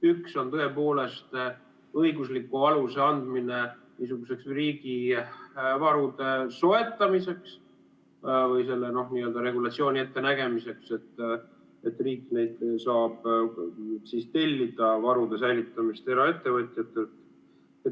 Üks on tõepoolest õigusliku aluse andmine niisuguseks riigivarude soetamiseks või selle n‑ö regulatsiooni ettenägemiseks, et riik saab tellida varude säilitamist eraettevõtjatelt.